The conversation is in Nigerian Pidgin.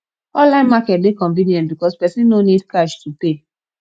online market de convenient because persin no need cash to pay